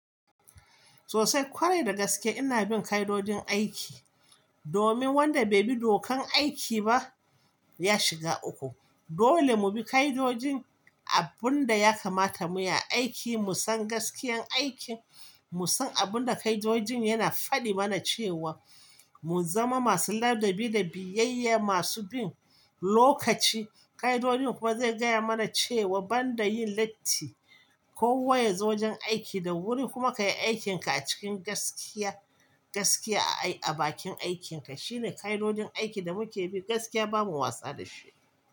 Sosai kwarai da gaske ina bin ka'idojin aiki, domin wanda bai bi dokan aiki ba ya shiga uku. Dole mu bi ka'idojin abun da ya kamata mu yi a aiki, mu san gaskiyan aikin, mu san abun da ka'idojin yana faɗi mana cewa mu zama masu ladabi da biyayya, masu bin lokaci. Ka'idojin kuwa zai gaya mana cewa banda yin latti ko wa yazo gurin aiki da wuri kuma ka yi aikinka a cikin gaskiya, gaskiya a bakin aikinka. Shi ne ka'idojin aikin da muke bi, gaskiya bamu wasa da shi ba.